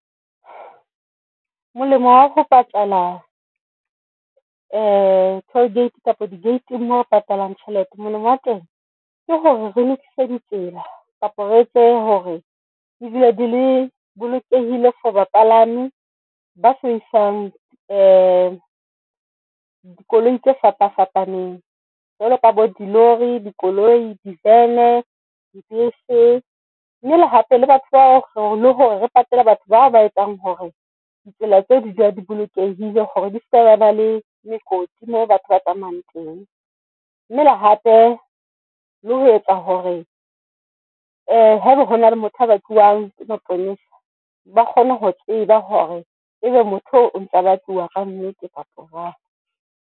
Molemo wa ho patala toll gate kapa di-gate-ng mo re patalang tjhelete. Molemo wa teng ke hore re lokise di tsela kapa re etse hore di dule di le bolokehile for bapalami ba sebedisang dikoloi tse fapa fapaneng jwalo ka bo di lori, dikoloi, di van di, bese, mme le hape le batho ba le hore re patelle batho bao ba etsang hore ditsela tse di dule di bolokehile hore di seke tsaba le mekoti mo batho ba tsamayang teng. Mme le hape le ho etsa hore haeba hona le motho a ba tluwang ke maponesa ba kgone ho tseba hore ebe motho o ntsa ba tluwa ka nnete batho jwang.